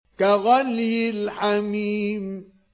كَغَلْيِ الْحَمِيمِ